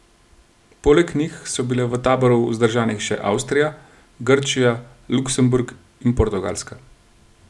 Poleg njih so bile v taboru vzdržanih še Avstrija, Grčija, Luksemburg in Portugalska.